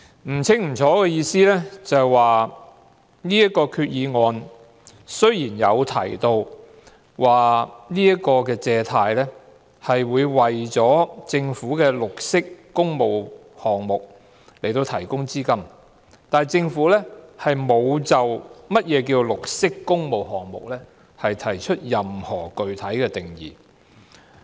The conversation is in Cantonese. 不清不楚的意思是這項決議案雖然提到，借款目的是為政府的綠色工務項目提供資金，但政府沒有就何謂綠色工務項目提出任何具體定義。